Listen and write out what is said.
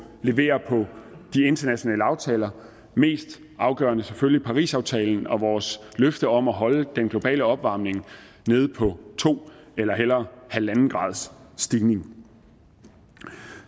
levere på de internationale aftaler mest afgørende er selvfølgelig parisaftalen og vores løfter om at holde den globale opvarmning nede på to eller hellere en graders stigning